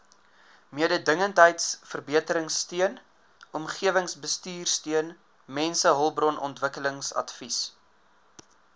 mededingendheidsverbeteringsteun omgewingsbestuursteun mensehulpbronontwikkelingsadvies